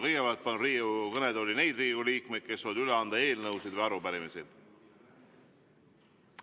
Kõigepealt palun Riigikogu kõnetooli neid Riigikogu liikmeid, kes soovivad üle anda eelnõusid või arupärimisi.